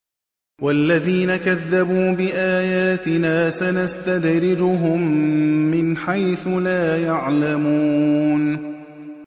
وَالَّذِينَ كَذَّبُوا بِآيَاتِنَا سَنَسْتَدْرِجُهُم مِّنْ حَيْثُ لَا يَعْلَمُونَ